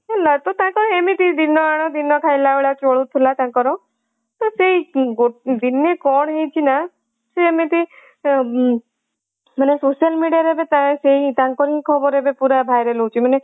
ତାଙ୍କର ଏମିତି ଦିନ ଆଣ ଦିନ ଖାଇଲା ଭଳିଆ ଚଳୁଥିଲା ତାଙ୍କର ତ ସେଇ ଦିନେ କଣ ହେଇଚି ନା ସିଏ ଏମିତି ମାନେ social media ରେ ଏବେ ପ୍ରାୟେ ସେଇ ତାଙ୍କରି ଖବର ଏବେ ପୁରା viral ହଉଚି ମାନେ